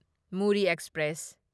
Murree express